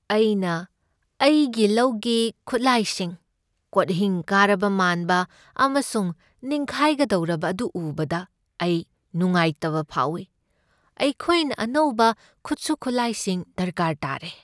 ꯑꯩꯅ ꯑꯩꯒꯤ ꯂꯧꯒꯤ ꯈꯨꯠꯂꯥꯏꯁꯤꯡ, ꯀꯣꯠꯍꯤꯡ ꯀꯥꯔꯕ ꯃꯥꯟꯕ ꯑꯃꯁꯨꯡ ꯅꯤꯡꯈꯥꯢꯒꯗꯧꯔꯕ ꯑꯗꯨ ꯎꯕꯗ ꯑꯩ ꯅꯨꯡꯉꯥꯢꯇꯕ ꯐꯥꯎꯏ꯫ ꯑꯩꯈꯣꯏꯅ ꯑꯅꯧꯕ ꯈꯨꯠꯁꯨ ꯈꯨꯠꯂꯥꯏꯁꯤꯡ ꯗꯔꯀꯥꯔ ꯇꯥꯔꯦ꯫